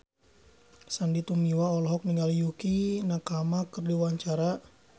Sandy Tumiwa olohok ningali Yukie Nakama keur diwawancara